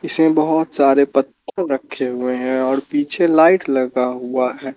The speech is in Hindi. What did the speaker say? इसमें बहुत सारे पत्थर रखे हुए हैं और पीछे लाइट लगा हुआ है।